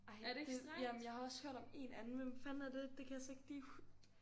Ej men det jamen jeg har også hørt om én anden hvem fanden er det? Det kan jeg så ikke lige